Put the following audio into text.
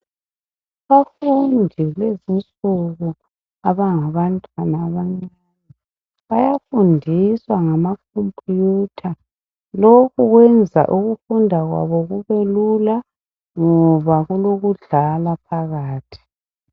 Abafundi bezinsuku abangabantwana abancane bayafundiswa ngama khompiyutha. Lokhu kwenza ukufunda kwabo kubelula ngoba kulokudlala phakathi.